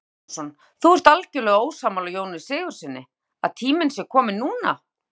Kristján Már Unnarsson: Þú ert algjörlega ósammála Jóni Sigurðssyni, að tíminn sé kominn núna?